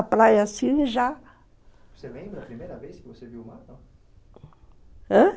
a praia, assim, já. Você lembra a primeira vez que você viu o mar, assim, não? Ãh?